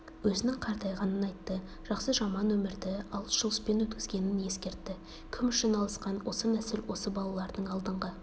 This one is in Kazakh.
өзінің қартайғанын айтты жақсы-жаман өмірді алыс-жұлыспен өткізгенін ескертті кім үшін алысқан осы нәсіл осы балалардың алдыңғы